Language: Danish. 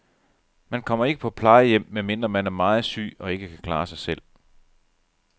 Man kommer ikke på plejehjem, medmindre man er meget syg og ikke kan klare sig selv.